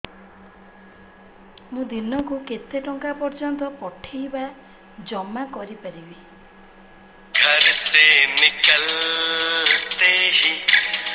ମୁ ଦିନକୁ କେତେ ଟଙ୍କା ପର୍ଯ୍ୟନ୍ତ ପଠେଇ ବା ଜମା କରି ପାରିବି